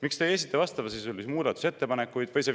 Miks te ei esita vastavasisulisi muudatusettepanekuid?